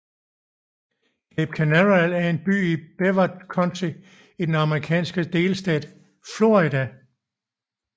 Cape Canaveral er en by i Brevard County i den amerikanske delstat Florida